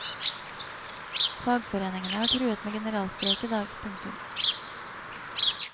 Fagforeningene har truet med generalstreik i dag. punktum